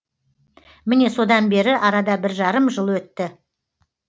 міне содан бері арада бір жарым жыл өтті